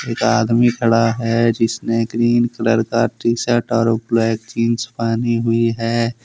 आदमी खड़ा है जिसने ग्रीन कलर का टी शर्ट और ब्लैक जींस पहनी हुई है।